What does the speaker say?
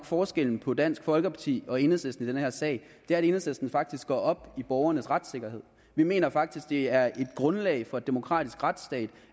forskellen på dansk folkeparti og enhedslisten i den her sag er at enhedslisten faktisk går op i borgernes retssikkerhed vi mener faktisk det er et grundlag for en demokratisk retsstat